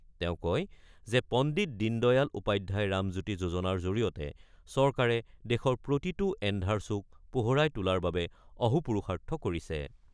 তেওঁ কয় যে, পণ্ডিত দীন দয়াল উপাধ্যায় ৰামজ্যোতি যোজনাৰ জৰিয়তে চৰকাৰে দেশৰ প্ৰতিটো এন্ধাৰ চুক পোহৰাই তোলাৰ বাবে অহোপুৰুষাৰ্থ কৰিছে।